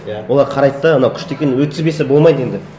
иә олар қарайды да анау күшті екен өткізбесе болмайды енді